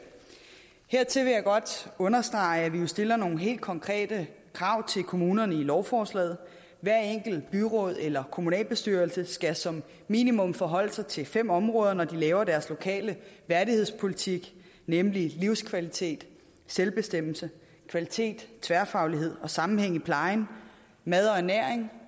godt understrege at vi stiller nogle helt konkrete krav til kommunerne i lovforslaget hvert enkelt byråd eller kommunalbestyrelse skal som minimum forholde sig til fem områder når de laver deres lokale værdighedspolitik nemlig livskvalitet selvbestemmelse kvalitet tværfaglighed og sammenhæng i plejen mad og ernæring